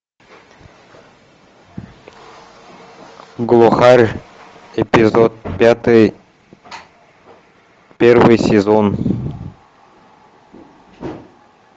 глухарь эпизод пятый первый сезон